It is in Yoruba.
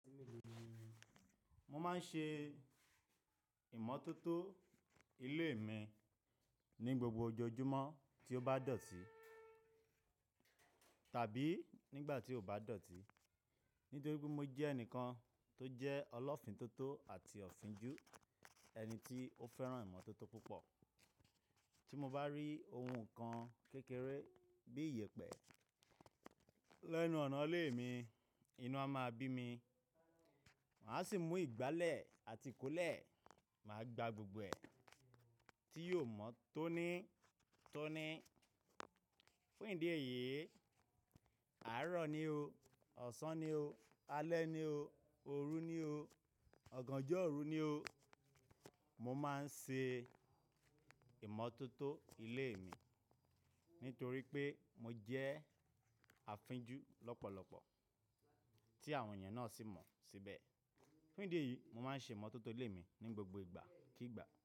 Mo máa ń ṣe ìmọ́tótó ilé mi ní gbogbo ọjọ́júmọ́ tí ó bá dọ̀tí tàbí nígbà tí kò bá dọ̀tí. Nítorí pé mo jẹ́ ẹnìkan tó jẹ́ ọlọ́fìn tó tó àti ọ̀finjú, ẹni tí ó fẹ́ràn ìmọ́tótó púpọ̀. Tí mo bá rí ohun kan kékeré bí iyẹ̀pẹ̀ lẹ́nu ọ̀nà ilé mi, inú a máa bí mi. Màá sì mú ìgbálẹ̀ àti kólẹ̀, màá gba gbogbo ẹ̀ tí yóò mọ́ tóní tóní. Fún ìdí èyí, àárọ̀ ni o, ọ̀sán ni o, alẹ́ ni o, òru ni o, ọ̀gànjọ́ òru ni o. Mo máa ń ṣe ìmọ́tótó ilé mi nítorí pé mo jẹ́ àfinjú lọ́pọ̀lọ́pọ̀ tí àwọn èèyàn náà sì mọ̀ síbẹ̀. Fún ìdí èyí, mo máa ń ṣe ìmọ́tótó ilé mi ní gbogbo ìgbà kí ìgbà.